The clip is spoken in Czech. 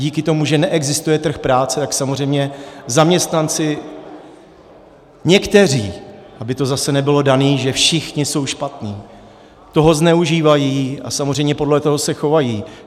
Díky tomu, že neexistuje trh práce, tak samozřejmě zaměstnanci - někteří, aby to zase nebylo dané, že všichni jsou špatní - toho zneužívají a samozřejmě podle toho se chovají.